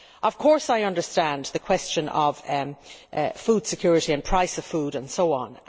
Of course I understand the question of food security and price of food and so on.